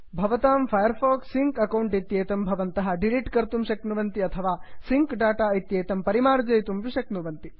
भवतां Firefox sync account इत्येतं भवतः डिलिट् कर्तुं श्क्नुवन्ति अथवा सिङ्क् डाटा इत्येतं परिमार्जयितुमपि शक्नुवन्ति